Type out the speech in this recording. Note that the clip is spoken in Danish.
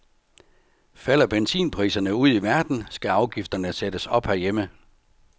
Falder benzinpriserne ude i verden, skal afgifterne sættes op herhjemme.